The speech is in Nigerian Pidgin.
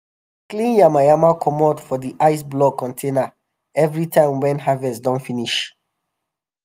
dem dey clean yama yama comot for di ice block containers evri time wen harvest don finish.